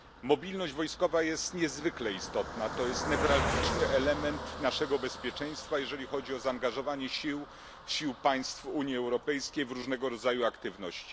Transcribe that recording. Mobilność wojskowa jest niezwykle istotna, to jest newralgiczny element naszego bezpieczeństwa, jeżeli chodzi o zaangażowanie sił państw Unii Europejskiej w różnego rodzaju aktywności.